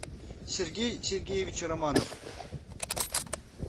сергей сергеевич романов